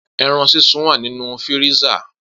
Eran sisun wa ninu firisa.